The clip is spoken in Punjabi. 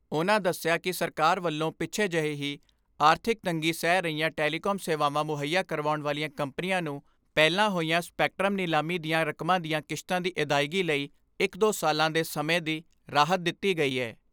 ਉਨ੍ਹਾਂ ਦਸਿਆ ਕਿ ਸਰਕਾਰ ਵਲੋਂ ਪਿਛੇ ਜਹੇ ਹੀ ਆਰਥਿਕ ਤੰਗੀ ਸਹਿ ਰਹੀਆਂ ਟੈਲੀਕਾਮ ਸੇਵਾਵਾਂ ਮੁਹੱਈਆ ਕਰਾਉਣ ਵਾਲੀਆਂ ਕੰਪਨੀਆਂ ਨੂੰ ਪਹਿਲਾਂ ਹੋਈਆਂ ਸਪੈਕਟਰਮ ਨਿਲਾਮੀ ਦੀਆਂ ਰਕਮਾਂ ਦੀਆਂ ਕਿਸ਼ਤਾ ਦੀ ਅਦਾਇਗੀ ਲਈ ਇਕ ਦੋ ਸਾਲਾਂ ਦੇ ਸਮੇਂ ਦੀ ਰਾਹਤ ਦਿੱਤੀ ਗਈ ਏ।